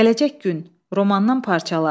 Gələcək gün romandan parçalar.